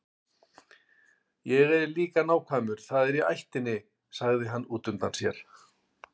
Ég er líka nákvæmur, það er í ættinni, sagði hann útundann sér.